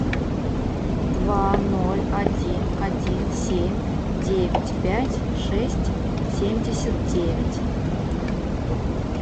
два ноль один один семь девять пять шесть семьдесят девять